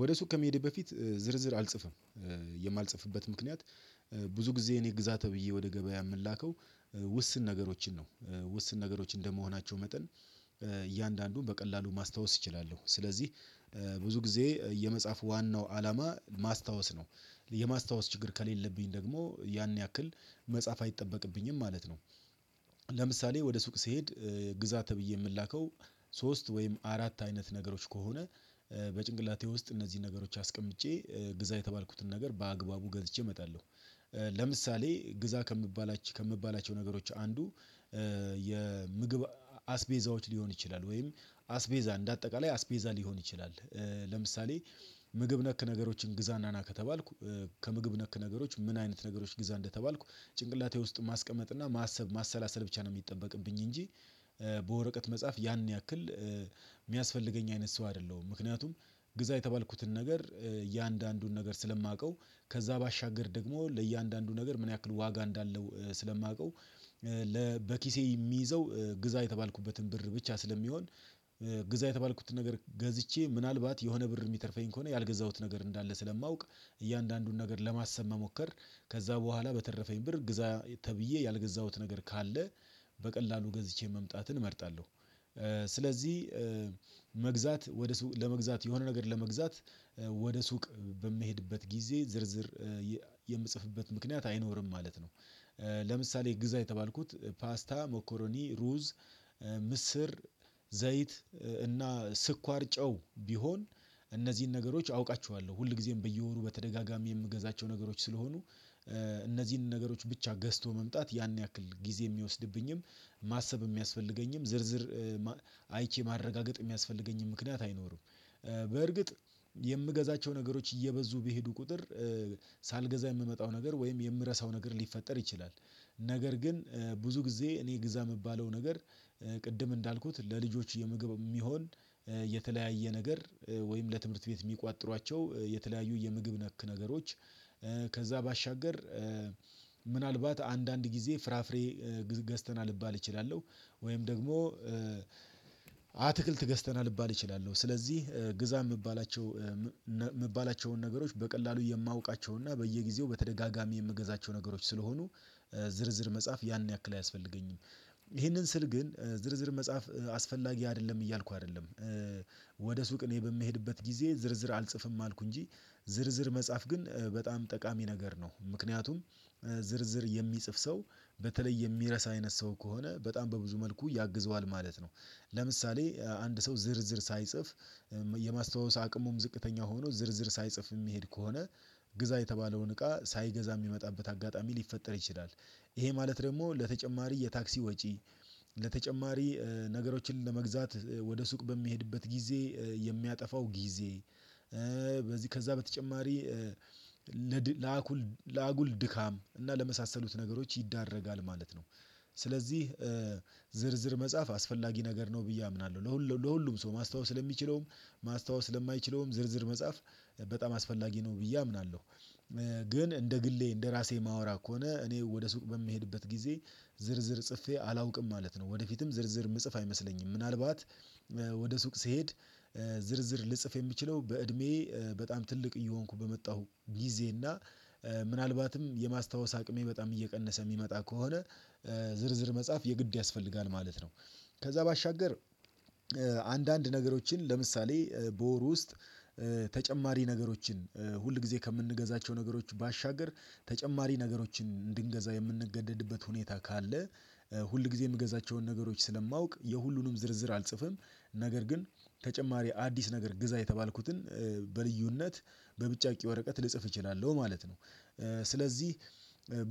ወደ ሱቅ ከመሄድ በፊት ዝርዝር አልጽፍም የማልጽፍበት ምክንያት ብዙ ጊዜ እኔ ግዛ ተብዬ ወደ ገበያ የምላከው ውስን ነገሮችን ነው ውስን ነገሮች እንደመሆናቸው መጠን እያንዳንዱን በቀላሉ ማስታወስ ይችላሉ ስለዚህ ብዙ ጊዜ የመጻፍ ዋናው አላማ ማስታወስ ነው የማስታወስ ችግር ከሌለብኝ ደግሞ ያን ያክል መጻፍ አይጠበቅብኝም ማለት ነው። ለምሳሌ ወደ ሱቅ ስሄድ ግዛ ተብዬ የምላከው ሶስት ወይም አራት አይነት ነገሮች ከሆነ በጭንቅላቴ ውስጥ እነዚህን ነገሮች አስቀምጬ ግዛ የተባልኩትን ነገር በአግባቡ ገዝቼ እመጣለሁ። ለምሳሌ ግዛ ከምባላቸው ነገሮች አንዱ የምግብ አስቤዛዎች ሊሆን ይችላል ወይም አስቤዛ እንደ አጠቃላይ አስቤዛ ሊሆን ይችላል። ለምሳሌ ምግብ ነክ ነገሮችን ግዛና ና ከተባልኩ ከምግብ ነክ ነገሮች ምን አይነት ነገሮች ግዛ እንደተባልኩ ጭንቅላቴ ውስጥ ማስቀመጥ እና ማሰብ ማሰላሰል ብቻ ነው የሚጠበቅብኝ። እንጂ በወረቀት መጽሐፍ ያን ያክል የሚያስፈልገኝ አይነት ሰው አይደለሁም። ምክንያቱም ግዛ የተባልኩትን ነገር እያንዳንዱን ነገር ስለማውቀው ከዛ ባሻገር ደግሞ ለእያንዳንዱ ነገር ምን ያክል ዋጋ እንዳለው ስለማውቀው። በኪሴ የሚይዘው ግዛ የተባልኩበትን ብር ብቻ ስለሚሆን ግዛ የተባልኩትን ነገር ገዝቼ ምናልባት የሆነ ብር የሚተርፈኝ ከሆነ ያልገዛሁት ነገር እንዳለ ስለማውቅ እያንዳንዱን ነገር ለማሰብ መሞከር ከዛ በኋላ በተረፈኝ ብር ግዛ ተብዬ ያልገዛሁት ነገር ካለ በቀላሉ ገዝቼ መምጣትን እመርጣለሁ። ስለዚህ መግዛት ወደ ሱቅ ለመግዛት የሆነ ነገር ለመግዛት ወደ ሱቅ በሚሄድበት ጊዜ ዝርዝር የምጽፍበት ምክንያት አይኖርም ማለት ነው። ግዛ የተባልኩት ፓስታ ሞኮሮኒ ሩዝ ምስር ዘይት እና ስኳር ጨው ቢሆን እነዚህን ነገሮች አውቃችኋለሁ ሁል ጊዜም በየወሩ በተደጋጋሚ የምገዛቸው ነገሮች ስለሆኑ እነዚህን ነገሮች ብቻ ገዝቶ መምጣት ያን ያክል ጊዜ የሚወስድብኝም ማሰብ የሚያስፈልገኝም ዝርዝር አይቼ ማረጋገጥ የሚያስፈልገኝም ምክንያት አይኖርም። በእርግጥ የምገዛቸው ነገሮች እየበዙ ቢሄዱ ቁጥር ሳልገዛ የምመጣው ነገር ወይም የምረሳው ነገር ሊፈጠር ይችላል። ነገር ግን ብዙ ጊዜ እኔ ግዛ የምባለው ነገር ቅድም እንዳልኩት ለልጆች የምግብ የሚሆን የተለያየ ነገር ወይም ለትምህርት ቤት የሚቋጥሯቸው የተለያዩ የምግብ ነክ ነገሮች። ከዛ ባሻገር ምናልባት አንዳንድ ጊዜ ፍራፍሬ ገዝተናል ልባል እችላለሁ ወይም ደግሞ አትክልት ገዝተናል ልባል እችላለሁ ስለዚህ ግዛ የምባላቸው ነገሮች በቀላሉ የማውቃቸውን እና በየጊዜው በተደጋጋሚ የምገዛቸው ነገሮች ስለሆኑ ዝርዝር መጽሐፍ ያን ያክል አያስፈልገኝም። ይህንን ስል ግን ዝርዝር መጻፍ አስፈላጊ አይደለም እያልኩ አይደለም። ወደ ሱቅ እኔ በምሄድበት ጊዜ ዝርዝር አልጽፍም አልኩ እንጂ ዝርዝር መጻፍ ግን በጣም ጠቃሚ ነገር ነው ምክንያቱም ዝርዝር የሚጽፍ ሰው በተለይ የሚረሳ አይነት ሰው ከሆነ በጣም በብዙ መልኩ ያግዘዋል ማለት ነው። ለምሳሌ አንድ ሰው ዝርዝር ሳይጽፍ የማስታወስ አቅሙም ዝቅተኛ ሆኖ ዝርዝር ሳይጽፍ የሚሄድ ከሆነ ግዛ የተባለውን እቃ ሳይገዛ የሚመጣበት አጋጣሚ ሊፈጠር ይችላል። ይሄ ማለት ደግሞ ለተጨማሪ የታክሲ ወጪ ለተጨማሪ ነገሮችን ለመግዛት ወደ ሱቅ በሚሄድበት ጊዜ የሚያጠፋው ጊዜ በዚህ ከዛ በተጨማሪ ለአጉል ድካም እና ለመሳሰሉት ነገሮች ይዳረጋል ማለት ነው። ስለዚህ ዝርዝር መጻፍ አስፈላጊ ነገር ነው ብዬ አምናለሁ ለሁሉም ሰው ማስታወስ ለሚችለውም ማስታወስ ለማይችለውም ዝርዝር በጣም አስፈላጊ ነው ብዬ አምናለሁ። ግን እንደ ግሌ እንደ ራሴ የማወራ ከሆነ እኔ ወደ ሱቅ በምሄድበት ጊዜ ዝርዝር ጽፌ አላውቅም ማለት ነው። ወደፊትም ዝርዝር ምጽፍ አይመስለኝም ምናልባት ወደ ሱቅ ስሄድ ዝርዝር ልጽፍ የምችለው በእድሜ በጣም ትልቅ እየሆንኩ በመጣሁ ጊዜ እና ምናልባትም የማስታወስ አቅሜ በጣም እየቀነሰ የሚመጣ ከሆነ ዝርዝር መጽሐፍ የግድ ያስፈልጋል ማለት ነው። ከዛ ባሻገር አንዳንድ ነገሮችን ለምሳሌ በወሩ ውስጥ ተጨማሪ ነገሮችን ሁል ጊዜ ከምንገዛቸው ነገሮች ባሻገር ተጨማሪ ነገሮችን እንድንገዛ የምንገደድበት ሁኔታ ካለ ሁል ጊዜ የምገዛቸውን ነገሮች ስለማውቅ የሁሉንም ዝርዝር አልጽፍም ነገር ግን ተጨማሪ አዲስ ነገር ግዛ የተባልኩትን በልዩነት በብጫቂ ወረቀት ልጽፍ እችላለሁ ማለት ነው። ስለዚህ